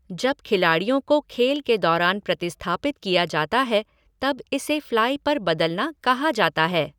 जब खिलाड़ियों को खेल के दौरान प्रतिस्थापित किया जाता है तब इसे फ्लाइ पर बदलना कहा जाता है।